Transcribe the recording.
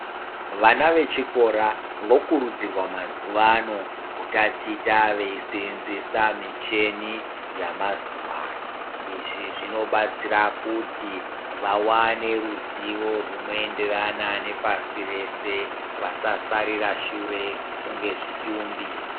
Vana ve chikora vokurudzirwa mazuva ano kutaticha veyi senzesa michini yama zuva ano izvi zvino batsira kuti vawane ruzivo rwuno enderana ne pasi rese vasa sarira shure kunge zvitumbi.